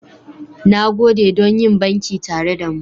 Na gode don yin banki tare da mu.